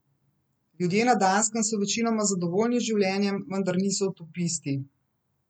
Ljudje na Danskem so večinoma zadovoljni z življenjem, vendar niso utopisti.